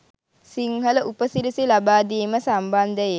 සිංහල උපසිරැසි ලබාදීම සම්බන්ධයෙන්.